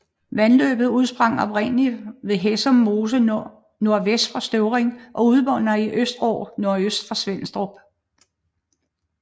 Vandløbet udsprang oprindeligt ved Hæsum Mose nordvest for Støvring og udmunder i Østerå nordøst for Svenstrup